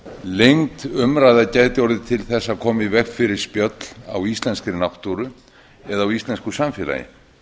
lengd umræða gæti orðið til þess að koma í veg fyrir spjöll á íslenskri náttúru eða á íslensku samfélagi